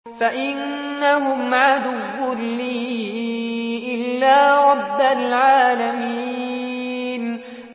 فَإِنَّهُمْ عَدُوٌّ لِّي إِلَّا رَبَّ الْعَالَمِينَ